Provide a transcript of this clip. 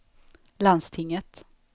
landstinget